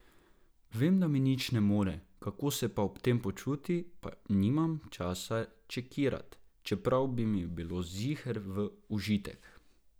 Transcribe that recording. Vem, da mi nič ne more, kako se pa ob tem počuti, pa nimam časa čekirat, čeprav bi mi bilo ziher v užitek.